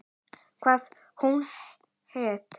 Hvað hún héti.